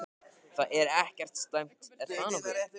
Það er ekkert slæmt, er það nokkuð?